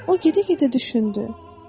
O gedə-gedə düşündü: